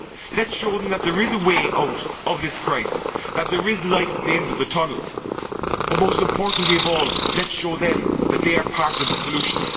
Let us show them that there is a way out of this crisis, that there is light at the end of the tunnel, but most importantly of all, let us show them that they are part of the solution.